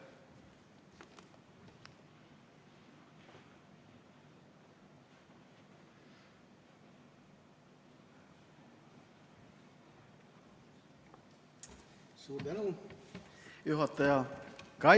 Suur tänu, juhataja!